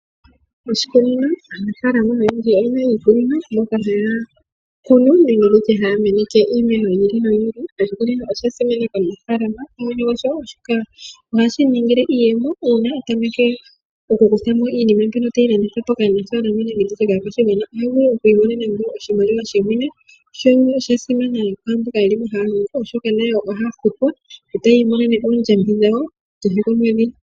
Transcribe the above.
Oshikunino Aanafaalama oyendji oye na iikunino, moka haya ku nu nenge haya meneke iimeno yi ili noyi ili. Oshikunino osha simanekwa molwashono ohashi gandja iiyemo uuna mwene gwasho a tameke okukutha mo iinima tayi landithwa po kaanafalama nenge kaakwashigwana, opo a vule oku imonene iimaliwa, osha simana wo kaaniilonga mboka haya longo mo, oshoka ohaya futwa e taya imonene oondjambi dhawo kehe komwedhi.